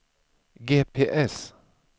GPS